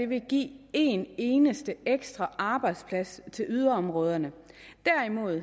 vil give én eneste ekstra arbejdsplads til yderområderne derimod